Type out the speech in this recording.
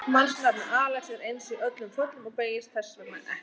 Mannsnafnið Alex er eins í öllum föllum og beygist þess vegna ekkert.